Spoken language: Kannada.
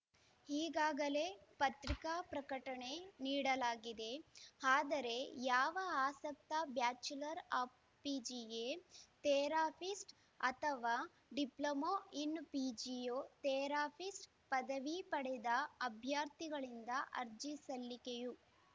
ಈಗಾಗಲೇ ಪತ್ರಿಕಾ ಪ್ರಕಟಣೆ ನೀಡಲಾಗಿದೆ ಆದರೆ ಯಾವ ಆಸಕ್ತ ಬ್ಯಾಚುಲರ್‌ ಆಫ್‌ ಫಿಜಿಯೇ ಥೇರಪಿಸ್ಟ್‌ ಅಥವಾ ಡಿಪ್ಲೊಮೋ ಇನ್‌ ಫಿಜಿಯೋ ಥೇರಫಿಸ್ಟ್‌ ಪದವಿ ಪಡೆದ ಅಭ್ಯರ್ಥಿಗಳಿಂದ ಅರ್ಜಿ ಸಲ್ಲಿಕೆಯು